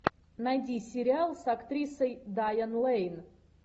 найди сериал с актрисой дайан лэйн